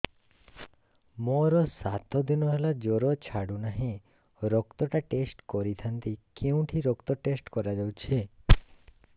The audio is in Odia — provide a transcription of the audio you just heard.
ମୋରୋ ସାତ ଦିନ ହେଲା ଜ୍ଵର ଛାଡୁନାହିଁ ରକ୍ତ ଟା ଟେଷ୍ଟ କରିଥାନ୍ତି କେଉଁଠି ରକ୍ତ ଟେଷ୍ଟ କରା ଯାଉଛି